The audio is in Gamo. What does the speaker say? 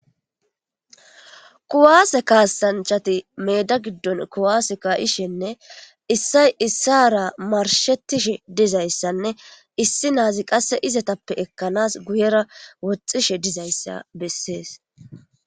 Kuwase kasanchati meeda giddon kuwase ka'ishene issay issara marshetishe dizayssanne issi naazi qasse izetappe ekkanas guyera woxxishe dizayssa bessees.